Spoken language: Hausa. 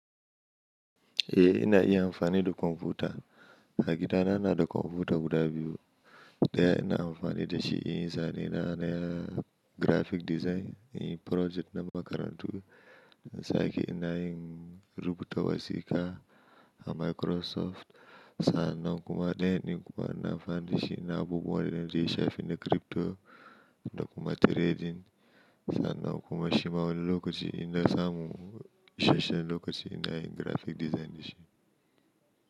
Eh ina iya amfani da kwamfuta. A gida na nada kwamfuta guda biyu. Ɗaya ina amfani dashi inyi zane na na graphic design, inyi project na makarantu. Ta aiki ina yin rubuta wasiƙa a Microsoft. Sa'anan kuma ɗayan ni kuma ina amfani dashi ina abubuwa da ya shafi na crypto da kuma trading. Sa'annan kuma shi ma wani lokaci inna samu, ishashshen lokaci ina yin graphic design dashi.